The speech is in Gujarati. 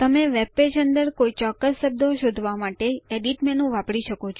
તમે વેબપેજ અંદર કોઈ ચોક્કસ શબ્દો શોધવા માટે એડિટ મેનુ વાપરી શકો છો